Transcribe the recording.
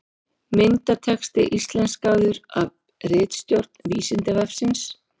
Myndatexti íslenskaður af ritstjórn Vísindavefsins.